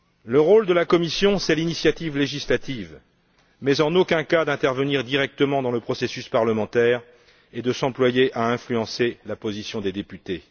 Le rôle de la Commission, c'est l'initiative législative, mais en aucun cas d'intervenir directement dans le processus parlementaire et de s'employer à influencer la position des députés.